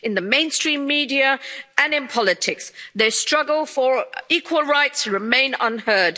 In the mainstream media and in politics, their struggle for equal rights remains unheard.